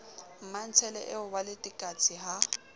mmantshele eo wa letekatse ha